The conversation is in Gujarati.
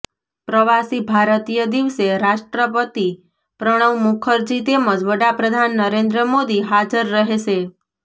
પ્રવાસી ભારતીય દિવસે રાષ્ટ્રપતિ પ્રણવ મુખર્જી તેમજ વડાપ્રધાન નરેન્દ્ર મોદી હાજર રહેશે